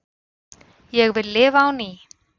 Ég vil lifa á ný